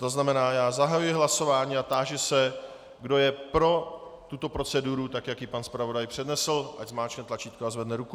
To znamená, že zahajuji hlasování a táži se, kdo je pro tuto proceduru tak, jak ji pan zpravodaj přednesl, ať zmáčkne tlačítko a zvedne ruku.